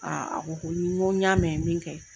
a ko ko n ko n y'a mɛn min kɛ.